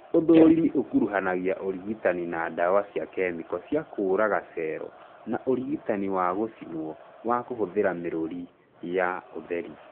ũthũrimi ũkuruhanagia ũrigitani na ndawa cia kemiko cia kũraga cero na ũrigitani wa gũcinwo wa kũhũthĩra mĩrũri ya ũtheri